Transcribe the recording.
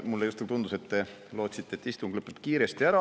Mulle justkui tundus, et te lootsite, et istung lõpeb kiiresti ära.